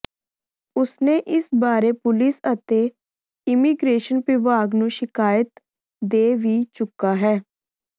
ਉਸਨੇ ਇਸ ਬਾਰੇ ਪੁਲਿਸ ਅਤੇ ਇਮੀਗ੍ਰੇਸ਼ਨ ਵਿਭਾਗ ਨੂੰ ਸ਼ਿਕਾਇਤ ਦੇ ਵੀ ਚੁੱਕਾ ਹੈ